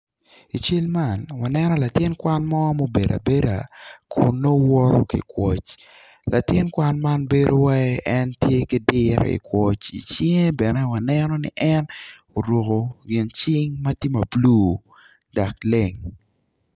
I cal man wano latin kwan mo ma obedo abeda kun nongo woto ki kwoc latin kwan ma bedo wai iwaci en tye ki diro i kwoc i cinge bene waneno ni en oruko gin cing ma tye ma bulu dok leng.